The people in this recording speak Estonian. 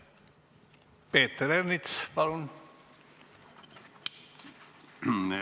Peeter Ernits, palun!